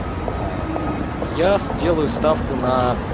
я сделаю ставку на